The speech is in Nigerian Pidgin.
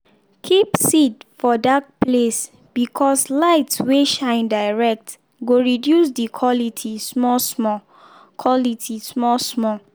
keep seed for dark place because light wey shine direct go reduce the quality small-small. quality small-small.